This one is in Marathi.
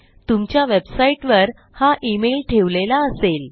तुमच्या वेबसाईटवर हा इमेल ठेवलेला असेल